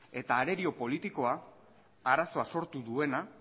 eta arerio politikoa arazoa sortu duena